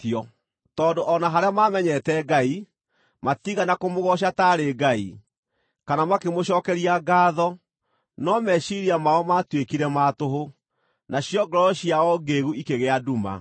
Tondũ o na harĩa maamenyete Ngai, matiigana kũmũgooca taarĩ Ngai, kana makĩmũcookeria ngaatho, no meciiria mao maatuĩkire ma tũhũ, nacio ngoro ciao ngĩĩgu ikĩgĩa nduma.